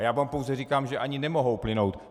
A já vám pouze říkám, že ani nemohou plynout.